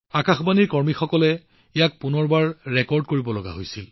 আকাশবাণীৰ বন্ধুসকলে ইয়াক বহুবাৰ পুনৰ ৰেকৰ্ড কৰিব লগীয়া হৈছিল